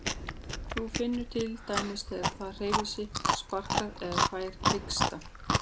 Hún finnur til dæmis þegar það hreyfir sig, sparkar eða fær hiksta.